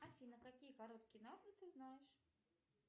афина какие короткие ты знаешь